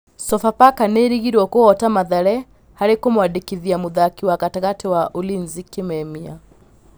Sofapaka nĩĩrĩgĩrĩirwo kũhota Mathare harĩ kũmwandĩkithia mũthaki wa gatagatĩ wa Ulinzi Kĩmemia.